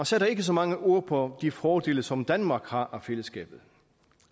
sætter ikke så mange ord på de fordele som danmark har af fællesskabet